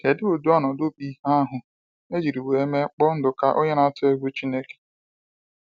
Kedụ ụdị ọnọdụ bụ ihe ahụ ejiri wee mme kpọ Nduka onye na atụ egwu Chineke?